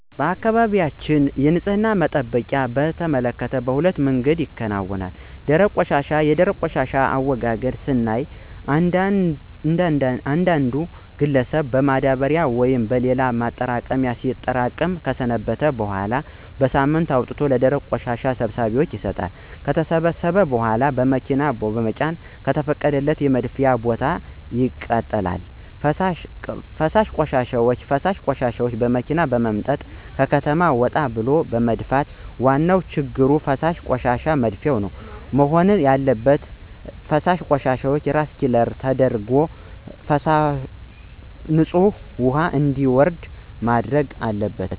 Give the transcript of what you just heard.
በአካባቢያችን የንፅህና አጠባበቅን በተመከተ በሁለት አይነት መንገድ ነው። ፩) ደረቅ ቆሻሻ፦ የደረቅ ቆሻሻን አወጋገድ ስናይ እያንዳንዱ ግለሰብን በማዳበሪያ ወይም በሌላ ማጠራቀሚያ ሲያጠራቅም ከሰነበተ በኋላ በሳምንቱ አውጥቶ ለደረቅ ቆሻሻ ሰብሳቢዎች ይሰጣሉ። ከተሰበሰበ በኋላ በመኪና በመጫን ከተፈቀደለት የመድፊያ ቦታ እና ማቃጠል። ፪) ፈሳሽ ቆሻሻ፦ ፈሳሽ ቆሻሻዎችን በመኪና በመምጠጥ ከከተማ ወጣ ብሎ መድፋት። ዋና ችግሩ ፈሳሽ ቆሻሻዎችን መድፋት? መሆን ያለበት ግን ፈሳሽ ቆሻሻዎችን ሪሳይክል ተደርጎ ንፅህ ውሀ እንዲወርድ መደረግ አለበት።